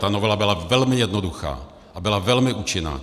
Ta novela byla velmi jednoduchá a byla velmi účinná!